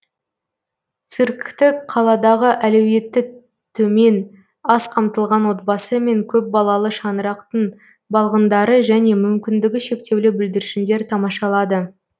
циркті қаладағы әлеуеті төмен аз қамтылған отбасы мен көпбалалы шаңырақтың балғындары және мүмкіндігі шектеулі бүлдіршіндер тамашалады